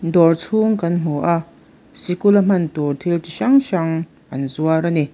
dawr chhung kan hmu a sikul a hman tur thil chi hrang hrang an zuar ani.